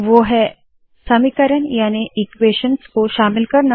यह समीकरण सहित है